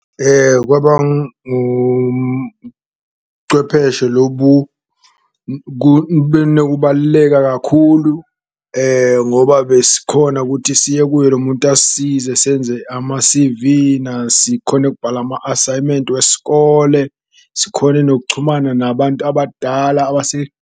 Kwaba lobu nokubaluleka kakhulu ngoba besikhona kuthi siye kuye lo muntu asisize senze ama-C_V-na, sikhone ukubhala ama-asayimenti wesikole, sikhone nokuchumana nabantu abadala .